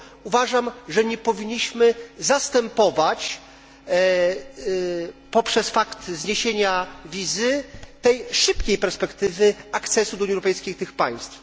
Uważam, że nie powinniśmy zastępować, poprzez fakt zniesienia wizy, tej szybkiej perspektywy akcesu do Unii Europejskiej tych państw.